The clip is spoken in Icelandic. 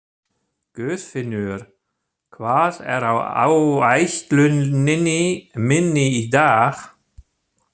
Guðfinnur, hvað er á áætluninni minni í dag?